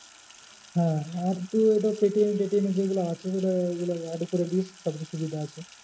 হ্যাঁ আর তুই ওটা পেটিএম এর যেগুলো আছে সেটা এগুলো add করে নিস সব চেয়ে সুবিধা আছে।